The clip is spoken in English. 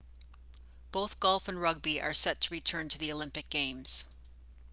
both golf and rugby are set to return to the olympic games